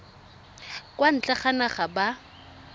kwa ntle ga naga ba